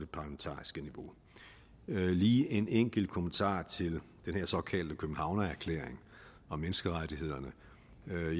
parlamentariske niveau lige en enkelt kommentar til den her såkaldte københavnerklæring om menneskerettighederne